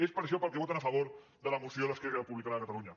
és per això pel que voten a favor de la moció d’esquerra republicana de catalunya